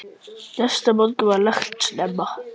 Næsta morgun var lagt upp snemma.